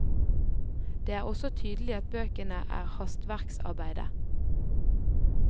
Det er også tydelig at bøkene er hastverksarbeide.